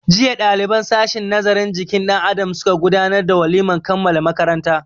Jiya ɗaliban sashin nazarin jikin dan Adam suka gudanar da walimar kammala makaranta.